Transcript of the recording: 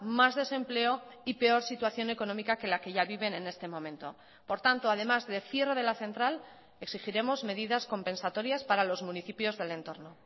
más desempleo y peor situación económica que la que ya viven en este momento por tanto además de cierre de la central exigiremos medidas compensatorias para los municipios del entorno